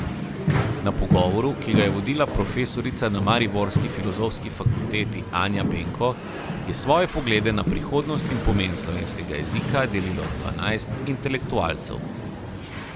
Na pogovoru, ki ga je vodila profesorica na mariborski filozofski fakulteti Anja Benko, je svoje poglede na prihodnost in pomen slovenskega jezika delilo dvanajst intelektualcev.